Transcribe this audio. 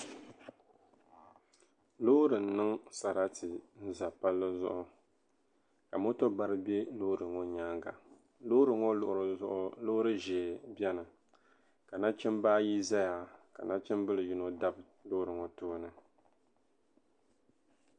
loori n-niŋ sarati n-za palli zuɣu ka moto bara be loori ŋɔ nyaaŋa loori ŋɔ luɣili zuɣu loori ʒee beni ka nachimba ayi zaya ka nachimbila yino tam Loori ŋɔ tooni